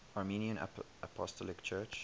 armenian apostolic church